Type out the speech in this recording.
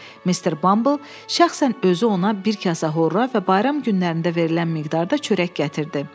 Mr. Bumble şəxsən özü ona bir kasa horra və bayram günlərində verilən miqdarda çörək gətirdi.